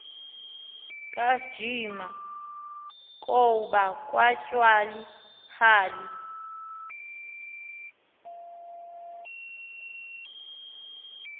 kajiba kaoba katyhali